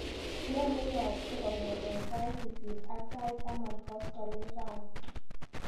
Ne neyaakse kong'ete sait sisit ak sait taman koskoliny rani?